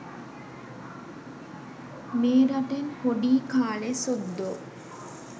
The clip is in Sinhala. මේ රටෙන් පොඩී කාලේ සුද්දෝ